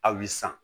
Hali san